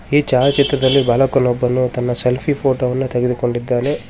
ಈ ಛಾಯಾಚಿತ್ರದಲ್ಲಿ ಬಾಲಕನೊಬ್ಬನು ತನ್ನ ಸೆಲ್ಫಿ ಫೋಟೋ ವನ್ನು ತೆಗೆದುಕೊಂಡಿದ್ದಾನೆ.